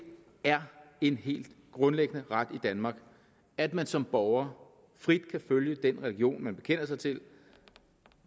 er en helt grundlæggende ret i danmark at man som borger frit kan følge den religion man bekender sig til